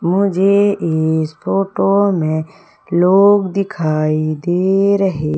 मुझे इस फोटो में लोग दिखाई दे रहे--